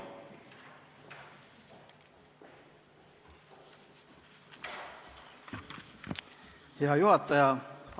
Hea juhataja!